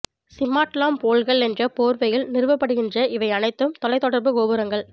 சிமாட் lamp போல்கள் என்ற போர்வையில் நிறுவப்படுகின்ற இவை அனைத்தும் தொலைத்தொடர்பு கோபுரங்கள்